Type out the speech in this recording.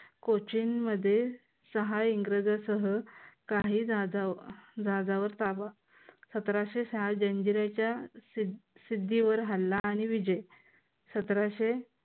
कोचीन मध्ये सहा इंग्रजांसह काही जहाजा जहाजावर ताबा सतराशे सहा जंजिराच्या सिद्धी वर हल्ला आणि विजय सतराशे